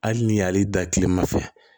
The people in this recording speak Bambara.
Hali ni y'ale da kilema fɛ